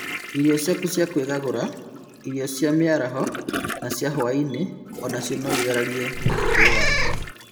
Irio ciaku cia kwĩgagũra, irio cia mĩaraho na cia hwai-inĩ onacio noithararie ũturo waku